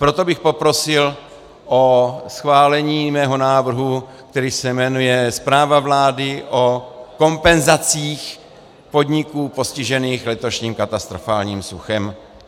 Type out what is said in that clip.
Proto bych poprosil o schválení svého návrhu, který se jmenuje Zpráva vlády o kompenzacích podnikům postiženým letošním katastrofálním suchem.